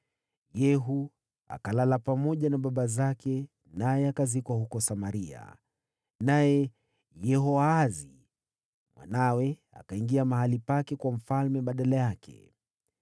Yehu akalala pamoja na baba zake, naye akazikwa huko Samaria. Naye Yehoahazi mwanawe akawa mfalme baada yake.